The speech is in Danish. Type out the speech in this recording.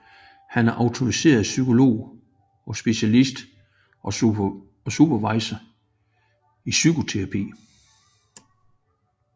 Han er autoriseret psykolog og specialist og supervisor i psykoterapi